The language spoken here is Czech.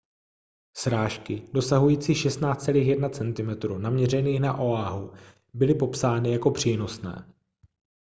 srážky dosahující 16,1 cm naměřených na oahu byly popsány jako přínosné